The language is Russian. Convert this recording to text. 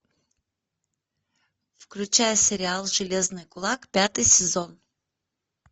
включай сериал железный кулак пятый сезон